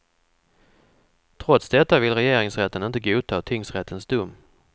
Trots detta vill regeringsrätten inte godta tingsrättens dom.